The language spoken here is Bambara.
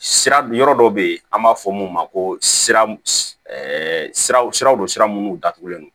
Sira yɔrɔ dɔ bɛ yen an b'a fɔ mun ma ko siraw don sira minnu datugulen don